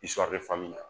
na